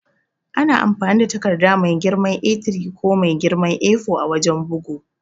Ana amfani da takarda mai girman A3 ko mai girman A4 a wajan bugu.